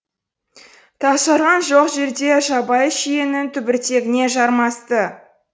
тасжарған жоқ жерде жабайы шиенің түбіртегіне жармасты